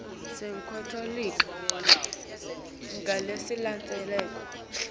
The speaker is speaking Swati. enkantolo ungalindzela loku